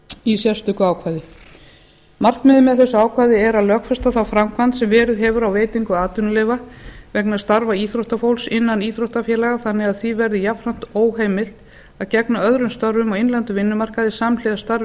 í sérstöku ákvæði markmiðið með þessu ákvæði er að lögfesta á framkvæmd sem verið hefur á veitingu atvinnuleyfa vegna starfa íþróttafólks innan íþróttafélaga þannig að því verði jafnframt óheimilt að gegna öðrum störfum á innlendum vinnumarkaði samhliða starfi